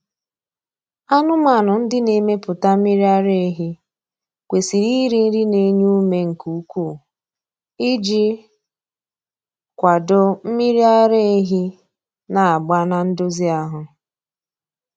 Anụmanụ ndị na-emepụta mmiri ara ehi kwesiri iri nri na-enye ume nke ukwuu iji kwado mmiri ara ehi na-agba na ndozi ahụ.